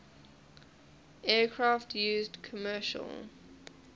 aircraft used commercial